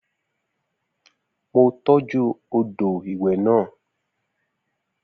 Mo tọ́jú odò ìwẹ̀ náà